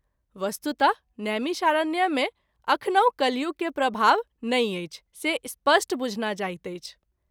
वस्तुतः नैमिषारण्य मे अखनहुँ कलियुग के प्रभाव नहिं अछि से स्पष्ट बुझना जाइत अछि।